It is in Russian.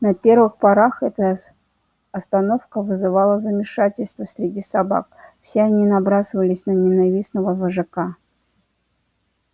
на первых порах эта остановка вызывала замешательство среди собак все они набрасывались на ненавистного вожака